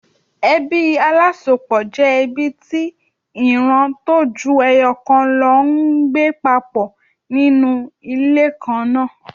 Ebí alásopọ̀ jẹ́ ẹbí tí ìran tó ju ẹyọ̀ kan lọ ń gbé papọ̀ ní inú ilé kan náà.